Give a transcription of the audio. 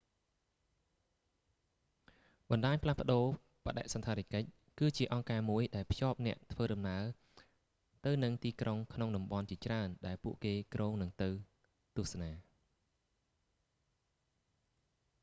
បណ្តាញផ្លាស់ប្តូរបដិសណ្ឋារកិច្ច គឺជាអង្គការមួយដែលភ្ជាប់អ្នកធ្វើដំណើរទៅនឹងទីក្រុងក្នុងតំបន់ជាច្រើនដែលពួកគេគ្រោងនឹងទៅទស្សនា